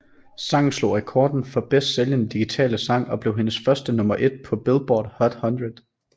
Sangen slog rekorden for bedst sælgende digitale sang og blev hendes første nummer ét på Billboard Hot 100